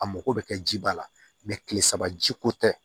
A mako bɛ kɛ ji ba la tile saba jiko tɛ